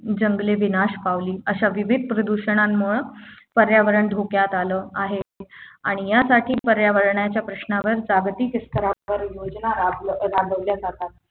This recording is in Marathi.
जंगले विनाश पावली अशा विविध प्रदूषणामुळे पर्यावरण धोक्यात आला आहे आणि यासाठी पर्यावरणाच्या प्रश्नावर जागतिक स्तरावर योजना राब राबवल्या जातात